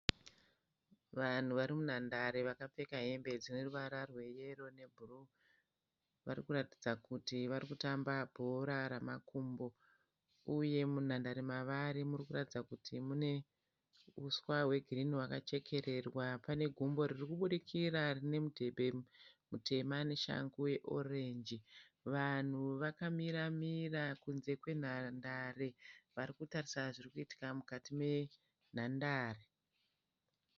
Vanhu varimunhandare vakapfeka hembe dzineruvara rweyero nebhuruu. Varikuratidza kutu varikutamba bhora.